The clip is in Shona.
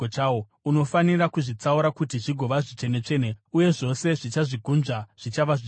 Unofanira kuzvitsaura kuti zvigova zvitsvene-tsvene, uye zvose zvichazvigunzva zvichava zvitsvene.